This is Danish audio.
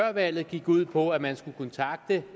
valget gik ud på at man skulle kontakte